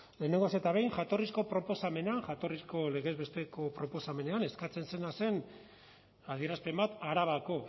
lehenengoz eta behin jatorrizko proposamenean jatorrizko legez besteko proposamenean eskatzen zena zen adierazpen bat arabako